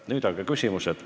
Nüüd aga küsimused.